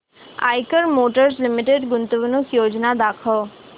Eicher motors limited गुंतवणूक योजना दाखव